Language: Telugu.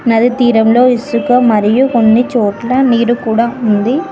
నది తీరంలో ఇసుక మరియు కొన్ని చోట్ల నీరు కూడా ఉంది.